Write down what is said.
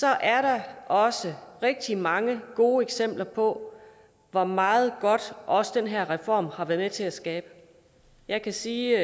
er der også rigtig mange gode eksempler på hvor meget godt også den her reform har været med til at skabe jeg kan sige